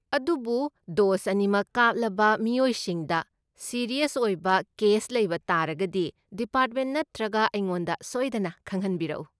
ꯑꯗꯨꯕꯨ ꯗꯣꯁ ꯑꯅꯤꯃꯛ ꯀꯥꯞꯂꯕ ꯃꯤꯑꯣꯏꯁꯤꯡꯗ ꯁꯤꯔꯤꯌꯁ ꯑꯣꯏꯕ ꯀꯦꯁ ꯂꯩꯕ ꯇꯥꯔꯒꯗꯤ ꯗꯤꯄꯥꯔꯠꯃꯦꯟ ꯅꯠꯇ꯭ꯔꯒ ꯑꯩꯉꯣꯟꯗ ꯁꯣꯏꯗꯅ ꯈꯪꯍꯟꯕꯤꯔꯛꯎ꯫